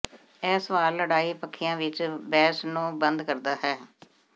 ਇਹ ਸਵਾਲ ਲੜਾਈ ਪੱਖੀਆਂ ਵਿਚ ਬਹਿਸ ਨੂੰ ਬੰਦ ਕਰਨਾ ਹੈ